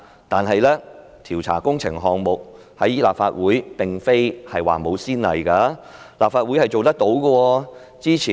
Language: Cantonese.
但是，調查工程項目，立法會並非沒有先例，立法會是做得到的。